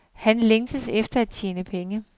Han længtes efter at tjene penge.